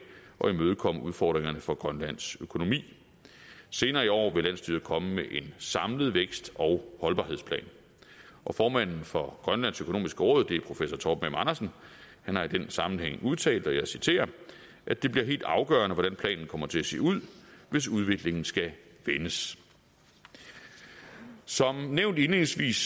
at imødekomme udfordringerne for grønlands økonomi senere i år vil landsstyret komme med en samlet vækst og holdbarhedsplan og formanden for grønlands økonomiske råd det er professor torben m andersen har i den sammenhæng udtalt og jeg citerer at det bliver helt afgørende hvordan planen kommer til at se ud hvis udviklingen skal vendes som nævnt indledningsvis